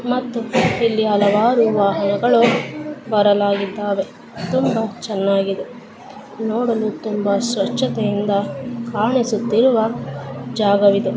ಮತ್ತು ಇಲ್ಲಿ ಹಲವಾರು ವಾಹನಗಳು ಬರಲಾಗಿದ್ದಾವೆ ತುಂಬಾ ಚೆನ್ನಾಗಿದೆ ನೋಡಲು ತುಂಬಾ ಸ್ವಚ್ಛತೆಯಿಂದ ಕಾಣಿಸುತ್ತಿರುವ ಜಾಗವಿದು.